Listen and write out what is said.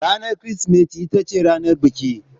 Ranar Kirsimeti ita ce ranar biki.